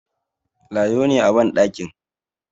Lado ne a bandakin